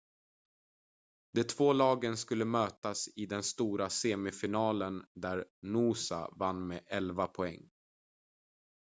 de två lagen skulle mötas i den stora semifinalen där noosa vann med 11 poäng